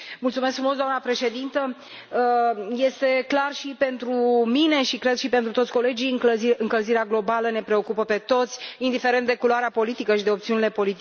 Doamnă președintă, este clar și pentru mine și, cred, și pentru toți colegii încălzirea globală ne preocupă pe toți, indiferent de culoarea politică și de opțiunile politice.